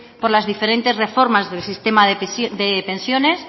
por las diferentes reformas del sistema de pensiones